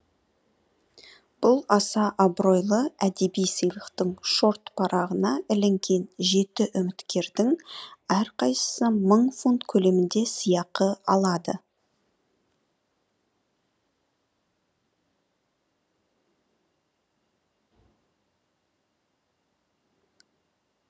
бұл аса абыройлы әдеби сыйлықтың шорт парағына ілінген жеті үміткердің әрқайсысы мың фунт көлемінде сыйақы алады